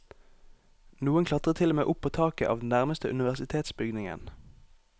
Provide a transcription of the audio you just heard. Noen klatret til og med opp på taket av den nærmeste universitetsbygningen.